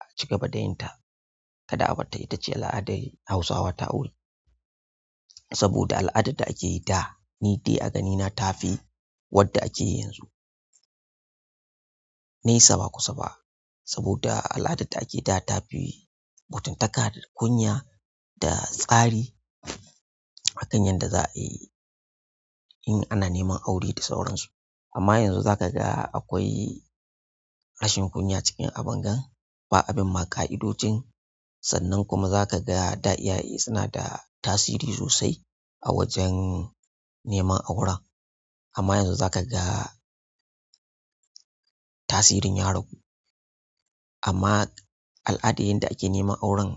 a cigaba da yin ta kada a barta ita ce al'adar Hausawa ta aure. Saboda al'adar da ake yi da ni dai a ganina ta fi wadda ake yi yanzu. Nesa ba kusa ba saboda al'adar da ake yi da ta fi mutuntaka da kunya da tsari akan yadda za a yi in ana neman aure da sauransu amma yanzu za ka ga akwai rashin kunya cikin abin ga ba abin ma ka'idocin sannan kuma za ka ga da iyaye suna da tasiri sosai a wajen neman auren. Amma yanzu za ka ga tasirin ya ragu amma al'adar yadda ake neman auren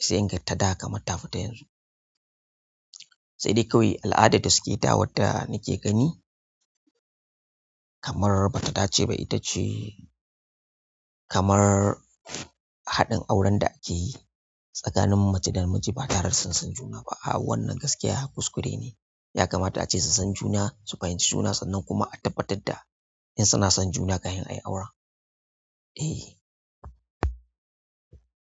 sai inga ta da kamar tafi ta yanzu. Sai dai kawai al'adar da suke yi da wadda nake gani kamar bata dace ba ita ce kamar haɗin auren da ake yi tsakanin mace da miji ba tare da sun san juna ba. Wannan gaskiya kuskure neh ya kamata ace su san juna su fahimci juna sannan kuma a tabbatar da in suna son juna kafin ayi aure. Eh.